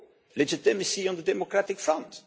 legitimacy on the democratic front.